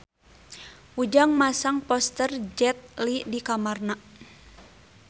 Ujang masang poster Jet Li di kamarna